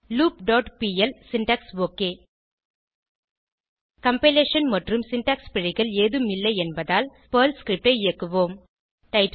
loop dot PL syntax okay compilation மற்றும் syntax பிழைகள் ஏதும் இல்லை என்பதால் பெர்ல் ஸ்கிரிப்ட் ஐ இயக்குவோம்